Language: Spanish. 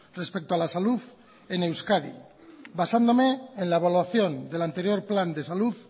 respecto a la salud en euskadi basándome en la evaluación del anterior plan de salud